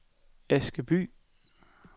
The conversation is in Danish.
Askeby